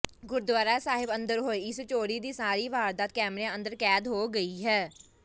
ਗੁਰਦੁਆਰਾ ਸਾਹਿਬ ਅੰਦਰ ਹੋਈ ਇਸ ਚੋਰੀ ਦੀ ਸਾਰੀ ਵਾਰਦਾਤ ਕੈਮਰਿਆਂ ਅੰਦਰ ਕੈਦ ਹੋ ਗਈ ਹੈ